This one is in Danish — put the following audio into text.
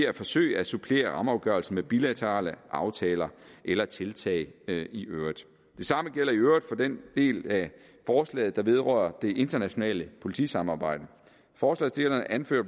at forsøge at supplere rammeafgørelsen med bilaterale aftaler eller tiltag i øvrigt det samme gælder i øvrigt for den del af forslaget der vedrører det internationale politisamarbejde forslagsstillerne anfører